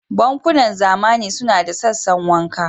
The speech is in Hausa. Bankunan zamani suna da sassan wanka.